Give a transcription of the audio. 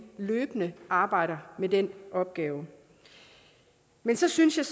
løbende arbejder med den opgave men så synes jeg